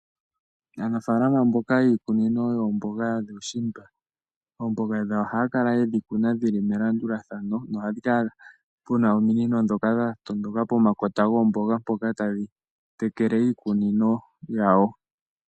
Aanafaalama mboka yiikunino yoomboga dhuushimba, oomboga dhawo ohaya kala yedhi kuna dhili melandulathano noha pu kala puna ominino ndhoka dha tondoka pomakota goomboga mpoka tadhi tekele iikunino yadho.